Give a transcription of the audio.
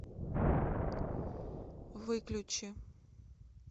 выключи